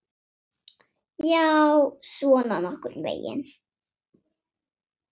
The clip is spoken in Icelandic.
Já, svona nokkurn veginn.